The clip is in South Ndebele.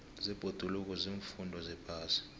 zebhoduluko ziimfundo zephasi